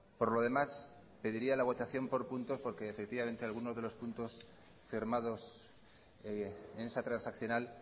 por lo demás pediría la votación por puntos porque algunos de los puntos firmados en esa transaccional